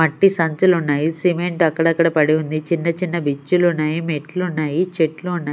మట్టి సంచలు ఉన్నాయి సిమెంట్ అక్కడక్కడ పడి ఉంది చిన్న చిన్న బిచ్చులు ఉన్నాయి మెట్లు ఉన్నాయి చెట్లు ఉన్నాయి.